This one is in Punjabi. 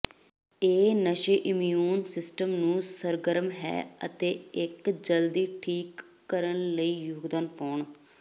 ਇਹ ਨਸ਼ੇ ਇਮਿਊਨ ਸਿਸਟਮ ਨੂੰ ਸਰਗਰਮ ਹੈ ਅਤੇ ਇੱਕ ਜਲਦੀ ਠੀਕ ਕਰਨ ਲਈ ਯੋਗਦਾਨ ਪਾਉਣ